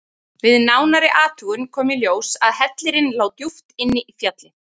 Við nánari athugun kom í ljós að hellirinn lá djúpt inn í fjallið.